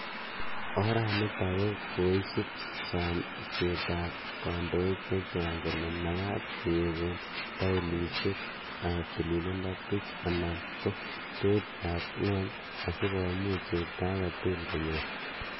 Oraniitok ko koisuup samseet ap kandoik chechang' kole magaat kegoon tauloisiek ap tililindo puch anan ko peeit ap ng'wuny asigomuuch chepto age tugul konyoor